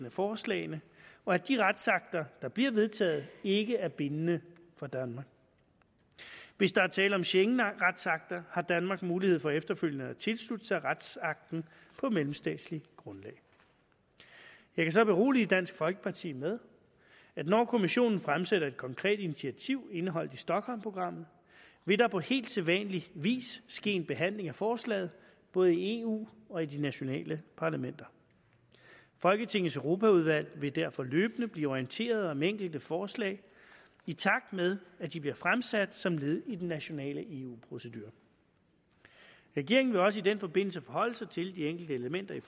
af forslagene og at de retsakter der bliver vedtaget ikke er bindende for danmark hvis der er tale om schengenretsakter har danmark mulighed for efterfølgende at tilslutte sig retsaktet på mellemstatsligt grundlag jeg kan så berolige dansk folkeparti med at når kommissionen fremsætter et konkret initiativ indeholdt i stockholmprogrammet vil der på helt sædvanlig vis ske en behandling af forslaget både i eu og i de nationale parlamenter folketingets europaudvalg vil derfor løbende blive orienteret om enkelte forslag i takt med at de bliver fremsat som led i den nationale eu procedure regeringen vil også i den forbindelse forholde sig til de enkelte elementer i